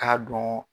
K'a dɔn